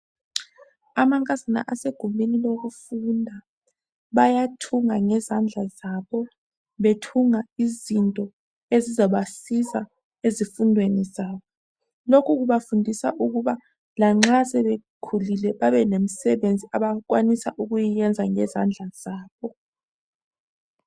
Amankazana asegumbini lokufunda bayathunga ngezandla zabo bethunga izinto ezizabasiza ezifundweni zabo. Lokhu kubafundisa kuba lanxa sebekhulile babe lemsebenzi abakwanisa ukuyiyenza ngezandla zabo.